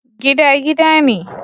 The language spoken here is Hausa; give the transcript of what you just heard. Gida gida ne